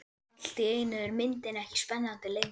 Allt í einu er myndin ekki spennandi lengur.